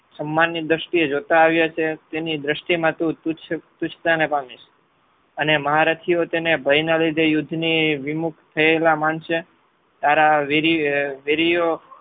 સમ્માનની દ્રષ્ટિએ જોતા આવ્યા છે તેની દ્રષ્ટિમાં તું તૃષતાને પામીશ અને મહારચીઓ તેને ભયના લીધે યુદ્ધની વિમુક્ત થયેલા માનશે તારા વેરીયો